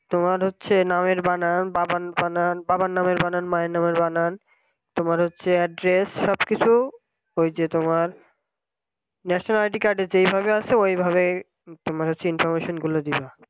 তোমার হচ্ছে নামের বানান বাবার বানান বাবার নামের বানান মায়ের নামের বানান তোমার হচ্ছে address সবকিছু ওই যে তোমার রেশন id card যেভাবে আছে ওইভাবে তুমি হচ্ছে information গুলো দিবা